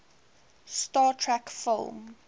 star trek film